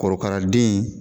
Korokara den